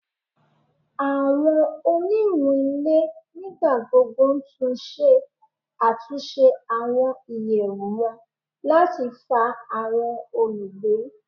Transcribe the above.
Awọn oniwun ile nigbagbogbo tun ṣe atunṣe awọn iyẹwu wọn lati fa awọn olugbe